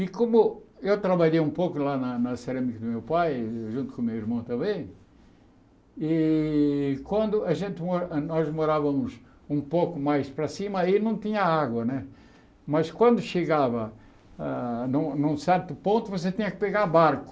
E como eu trabalhei um pouco lá na na cerâmica do meu pai, junto com o meu irmão também, e quando a gente nós morávamos um pouco mais para cima, aí não tinha água né, mas quando chegava ah num num certo ponto, você tinha que pegar barco.